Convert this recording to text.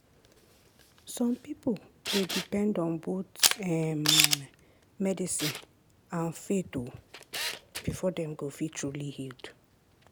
some people dey depend on both um medicine and faith um before dem go feel truly healed.